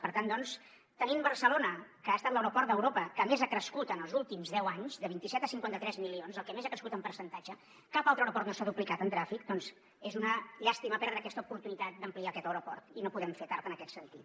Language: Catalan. per tant doncs tenim barcelona que ha estat l’aeroport d’europa que més ha crescut en els últims deu anys de vint set a cinquanta tres milions el que més ha crescut en percentatge cap altre aeroport no s’ha duplicat en trànsit doncs és una llàstima perdre aquesta oportunitat d’ampliar aquest aeroport i no podem fer tard en aquest sentit